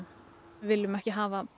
viljum ekki hafa